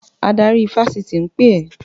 Adarí ifásitì ń pè ẹ́!